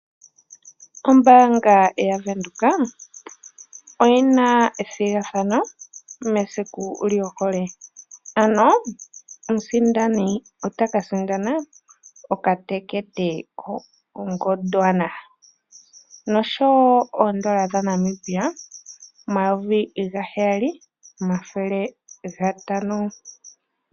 Ombaanga yaVenduka oyina methigathano mesiku lyohole ano omusindani otaka sindana okatekete ko Gondwana noshowo oondola dha Namibia omayovi ga heyali nomathele gatano.